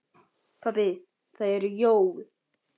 Pabbi það eru jól.